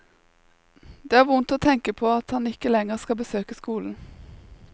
Det er vondt å tenke på at han ikke lenger skal besøke skolen.